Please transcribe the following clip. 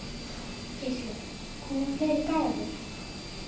Gísli: Koma fleiri gjafir?